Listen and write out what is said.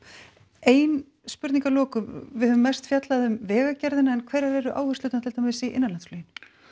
ein spurning að lokum við höfum mest fjallað um vegagerðina en hverjar eru áherslurnar til dæmis í innanlandsfluginu